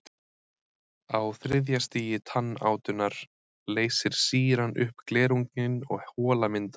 Á þriðja stigi tannátunnar leysir sýran upp glerunginn og hola myndast.